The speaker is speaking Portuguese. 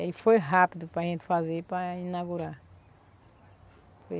E aí foi rápido para gente fazer para inaugurar.